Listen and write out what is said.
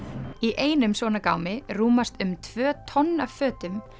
í einum svona gámi rúmast um tvö tonn af fötum